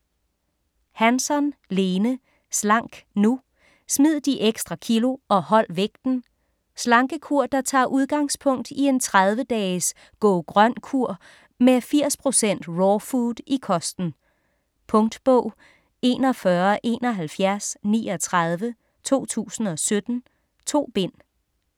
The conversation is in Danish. Hansson, Lene: Slank nu!: smid de ekstra kilo og hold vægten Slankekur der tager udgangspunkt i en 30 dages "Go-grøn kur" med 80% raw food i kosten. Punktbog 417139 2017. 2 bind.